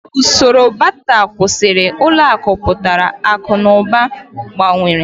Usoro Bata kwụsịrị, ụlọ akụ pụtara, akụ na ụba gbanwere.